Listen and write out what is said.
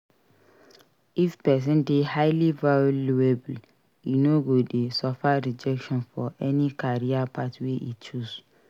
If person de highly valuable e no go de suffer rejection for any career path wey e choose